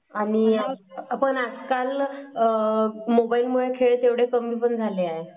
आणि आजकाल मोबाइल मुळे खेळपण एवढे कमी पण झाले आहे.